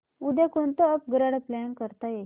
उद्या कोणतं upgrade plan करता येईल